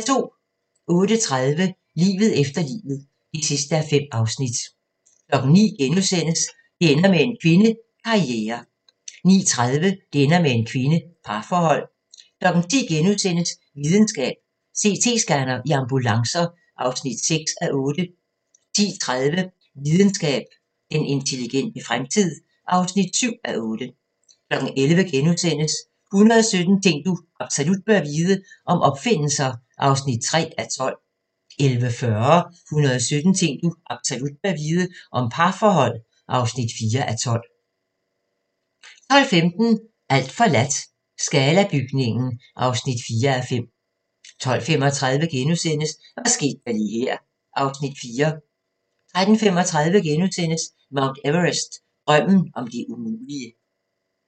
08:30: Livet efter livet (5:5) 09:00: Det ender med en kvinde – Karriere * 09:30: Det ender med en kvinde – Parforhold 10:00: Videnskab: CT-scanner i ambulancer (6:8)* 10:30: Videnskab: Den intelligente fremtid (7:8) 11:00: 117 ting du absolut bør vide - om opfindelser (3:12)* 11:40: 117 ting du absolut bør vide - om parforhold (4:12) 12:15: Alt forladt – Scala-bygningen (4:5) 12:35: Hvad skete der lige her (Afs. 4)* 13:35: Mount Everest – Drømmen om det umulige *